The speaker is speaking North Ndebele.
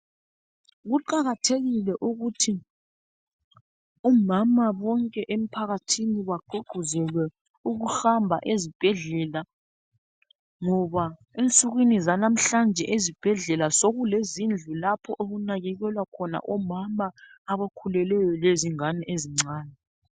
Kuqakathekile ukuthi omama bonke emphakathini baququzelwe ukuhamba ezibhedlela ngoba ensukwini zanamhlanje ezibhedlela sokukhona izindlu okunakakelwa khona omama abakhulelweyo lezingane ezincane.